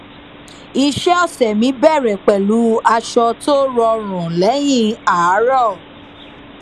iṣẹ ọsẹ mi bẹrẹ pẹlú aṣọ tó rọrùn lẹyìn àárọ